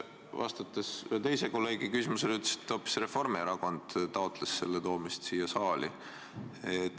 Vastates ühe teise kolleegi küsimusele aga ütlesite hoopis, et Reformierakond taotles selle küsimuse toomist saali.